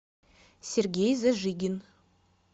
сергей зажигин